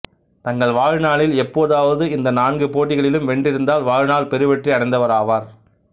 தங்கள் வாழ்நாளில் எப்போதாவது இந்த நான்கு போட்டிகளிலும் வென்றிருந்தால் வாழ்நாள் பெருவெற்றி அடைந்தவராவர்